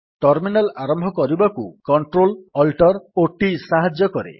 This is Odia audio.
ଟର୍ମିନାଲ୍ ଆରମ୍ଭ କରିବାକୁ CtrlaltT ସାହାଯ୍ୟ କରେ